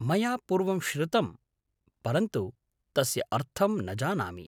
मया पूर्वं श्रुतम्, परन्तु तस्य अर्थं न जानामि।